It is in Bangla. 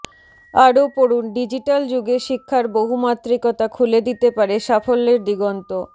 আরও পড়ুন ডিজিট্যাল যুগে শিক্ষার বহুমাত্রিকতা খুলে দিতে পারে সাফল্যের দিগন্ত